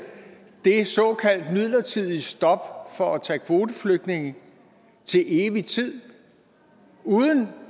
det såkaldt midlertidige stop for at tage kvoteflygtninge til evig tid uden